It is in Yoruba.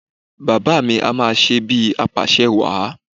Bàbá à mi ń ṣe bíi apàṣẹwàá